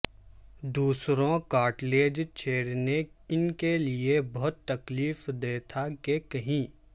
دوسروں کارٹلیج چھیدنے ان کے لیے بہت تکلیف دہ تھا کہ کہیں